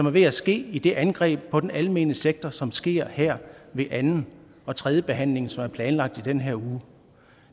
er ved at ske i det angreb på den almene sektor som sker her ved anden og tredje behandling som er planlagt i den her uge